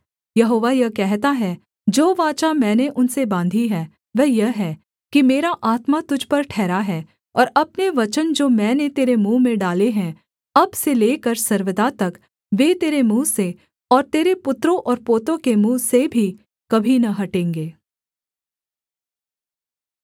यहोवा यह कहता है जो वाचा मैंने उनसे बाँधी है वह यह है कि मेरा आत्मा तुझ पर ठहरा है और अपने वचन जो मैंने तेरे मुँह में डाले हैं अब से लेकर सर्वदा तक वे तेरे मुँह से और तेरे पुत्रों और पोतों के मुँह से भी कभी न हटेंगे